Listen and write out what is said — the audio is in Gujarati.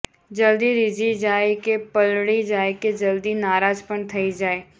જલદી રીઝી જાય કે પલળી જાય કે જલદી નારાજ પણ થઇ જાય